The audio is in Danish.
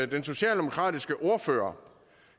den socialdemokratiske ordfører